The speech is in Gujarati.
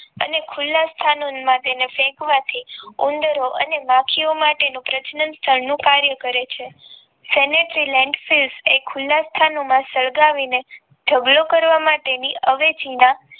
અને ખુલા માં ફેંકવા થી ઉંદરો અને માખી વો માટે પ્રજનન નું કાર્ય કરે છે એ ખુલા સ્થાનો માં સળગાવી ને ઢગલો કરવા માટેની અવેજી ના